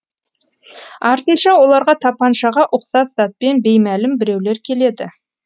артынша оларға тапаншаға ұқсас затпен беймәлім біреулер келеді